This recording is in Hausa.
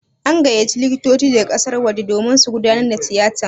An gayyaci likitoci daga ƙasar waje domin su gudanar da tiyatan.